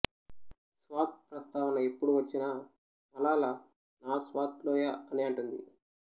స్వాత్ ప్రస్తావన ఎప్పుడు వచ్చినా మలాలా నా స్వాత్ లోయ అనే అంటుంది